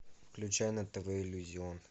включай на тв иллюзион